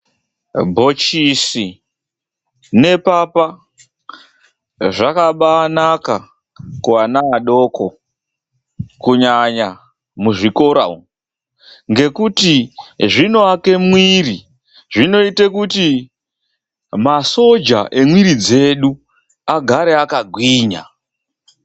Bhochisi nepapa zvakabaanaka kuana adoko kunyanya muzvikora umwu, ngekuti zvinoaka mwiri zvinoite kuti masoja emwiri dzedu agare akagwinya.